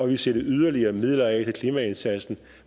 vil sætte yderligere midler af klimaindsatsen